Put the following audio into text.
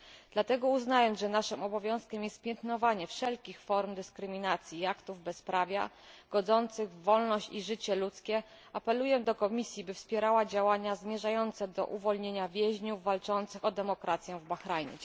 Dlatego, uznając, że naszym obowiązkiem jest piętnowanie wszelkich form dyskryminacji i aktów bezprawia godzących w wolność i życie ludzkie, apeluję do Komisji, by wspierała działania zmierzające do uwolnienia więźniów walczących o demokrację w Bahrajnie.